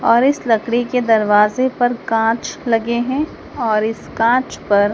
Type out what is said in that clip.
और इस लकड़ी के दरवाजे पर कांच लगे हैं और इस कांचपर--